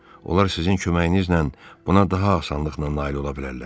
Onlar sizin köməyinizlə buna daha asanlıqla nail ola bilərlər.